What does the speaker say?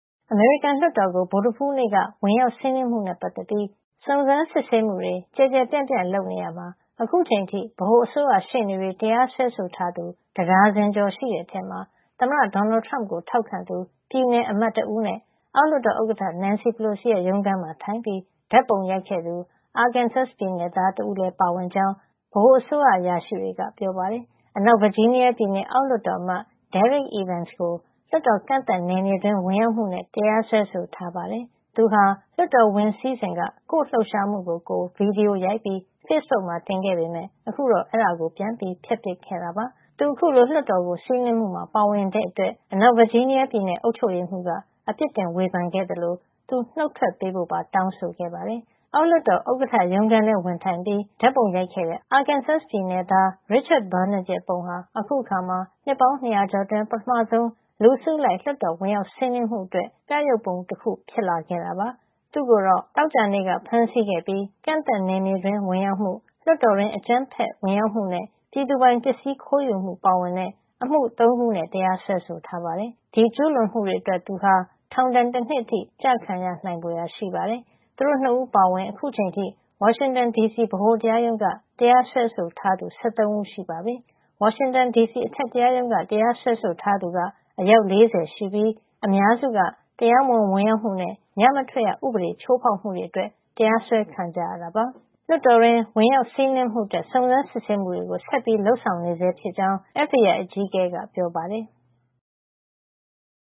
အမေရိကန်လွှတ်တော်ကို ဗုဒ္ဓဟူးနေ့က ဝင်ရောက်စီးနင်းမှုနဲ့ ပတ်သက်ပြီး စုံစမ်းစစ်ဆေးမှုတွေ ကျယ်ကျယ်ပြန့်ပြန့် လုပ်နေရာမှာ အခုချိန်အထိ ဗဟိုအစိုးရရှေ့နေတွေ တရားစွဲဆိုထားသူ တဒါဇင်ကျော်ရှိတဲ့အထဲမှာ သမ္မတ Donald Trump ကို ထောက်ခံသူ ပြည်နယ်အမတ်တဦးနဲ့ အောက်လွှတ်တော် ဥက္ကဋ္ဌ Nancy Pelosi ရုံးခန်းမှာထိုင်ပြီး ဓာတ်ပုံရိုက်ခဲ့သူ Arkansas ပြည်နယ်သား တဦးတို့လည်း ပါဝင်ကြောင်း ဗဟိုအစိုးရ အရာရှိတွေက ပြောပါတယ်။ အနောက်ဗာဂျီးနီးယားပြည်နယ် အောက်လွှတ်တော်အမတ် Derrick Evans ကို လွှတ်တော် ကန့်သတ်နယ်မြေတွင်း ဝင်ရောက်မှုနဲ့ တရားစွဲဆိုထားပါတယ်။ သူဟာ လွှတ်တော်ဝင်စီးစဉ်က ကိုယ့်လှုပ်ရှားမှုကိုကိုယ် ဗွီဒီယိုရိုက်ပြီး ဖေ့စ်ဘုတ်မှာ တင်ခဲ့ပေမယ့် ခုတော့ အဲဒါကို ပြန်ဖျက်ပစ်ခဲ့တာပါ။ သူ အခုလို လွှတ်တော်ကို စီးနင်းမှုမှာ ပါဝင်တဲ့အတွက် အနောက်ဗာဂျီးနီးယားပြည်နယ် အုပ်ချုပ်ရေးမှူးက အပြစ်တင် ဝေဖန်ခဲ့သလို သူနုတ်ထွက်ပေးဖို့ပါ တောင်းဆိုခဲ့ပါတယ်။ အောက်လွှတ်တော်ဥက္ကဋ္ဌ ရုံးခန်းထဲ ဝင်ထိုင်ပြီး အခန့်သား ဓာတ်ပုံရိုက်ခဲ့တဲ့ Arkansas နယ်သား Richard Barnett ရဲ့ပုံဟာ အခုအခါမှာ နှစ်ပေါင်း ၂၀၀ ကျော်အတွင်း ပထမဆုံး လူအစုလိုက် လွှတ်တော်ဝင်ရောက်စီးနင်းမှုအတွက် ပြယုဂ်ပုံတခု ဖြစ်ခဲ့တာပါ။ သူ့ကိုတော့ Arkansas ပြည်နယ် Little Rock မှာ သောကြာနေ့က ဖမ်းဆီးခဲ့ပြီး ကန့်သတ်နယ်မြေတွင်း ဝင်ရောက်မှု၊ လွှတ်တော်တွင်း အကြမ်းဖက်ဝင်ရောက်မှုနဲ့ ပြည်သူပိုင်ပစ္စည်း ခိုးယူမှု ပါဝင်တဲ့ အမှု ၃ ခုနဲ့ တရားစွဲဆိုထားပါတယ်။ ဒီကျူးလွန်မှုတွေအတွက် သူဟာ ထောင်ဒဏ် တနှစ်အထိ ကျခံရနိုင်ဖွယ်ရာ ရှိပါတယ်။ သူတို့ ၂ ဦး အပါအဝင် အခုချိန်အထိ ဝါရှင်တန်ဒီစီ ဗဟိုတရားရုံးက တရားစွဲဆိုထားသူ ၁၃ ဦးရှိပြီဖြစ်ပါတယ်။ ဝါရှင်တန်ဒီစီ အထက်တရားရုံးက တရားစွဲဆိုထားသူက အယောက် ၄၀ ရှိပြီး အများစုက တရားမဝင် ဝင်ရောက်မှုနဲ့ ညမထွက်ရဥပဒေ ချိုးဖောက်မှုတွေနဲ့ တရားစွဲခံရတာ ဖြစ်ပါတယ်။ လွှတ်တော်တွင်း စီးနင်းဝင်ရောက်မှုအတွက် စုံစမ်းစစ်ဆေးမှုတွေ ဆက်လက်လုပ်ဆောင်နေဆဲဖြစ်ကြောင်း FBI အကြီးအကဲ Christopher Wray က ပြောပါတယ်။